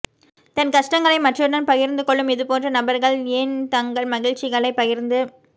தன் கஷ்டங்களை மற்றவருடன் பகிர்ந்து கொள்ளும் இதுபோன்ற நபர்கள் ஏன் தங்கள் மகிழ்ச்சிகளைப் பகிர்ந்து